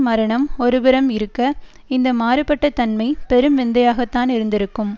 மரணம் ஒருபுறம் இருக்க இந்த மாறுபட்ட தன்மை பெரும் விந்தையாகத்தான் இருந்திருக்கும்